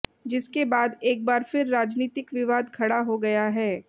जिसके बाद एक बार फिर राजनीतिक विवाद खड़ा हो गया है